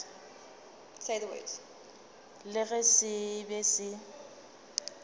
le ge se be se